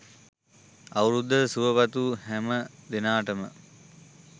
අවුරුද්දට සුභ පතපු හැම දෙනාටම